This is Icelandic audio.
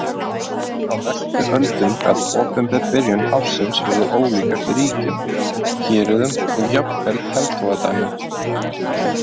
Á næstu öldum gat opinber byrjun ársins verið ólík eftir ríkjum, héröðum og jafnvel hertogadæmum.